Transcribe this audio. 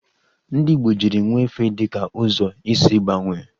Ndị Igbo jiri nwefe dị ka ụzọ isi gbanwee